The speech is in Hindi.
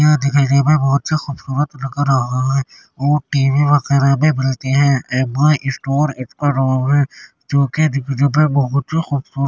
यह दिखने में बहुत से खूबसूरत लग रहा है और टी.वी वगेरे भी मिलती हैं एम.आई स्टोर इसका नाम है जो के दिखने में बहुत ही खूबसूरत --